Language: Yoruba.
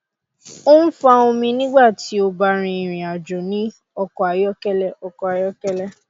o n fa omi nigba ti o ba rin irinajo ni ọkọ ayọkẹlẹ ọkọ ayọkẹlẹ